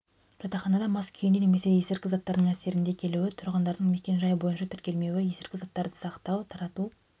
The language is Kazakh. жатақханада мас күйінде немесе есірткі заттардың әсерінде келуі тұрғындардың мекен-жай бойынша тіркелмеуі естірткі заттарды сақтау тарату